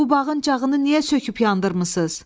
Bu bağın cağını niyə söküb yandırmırsız?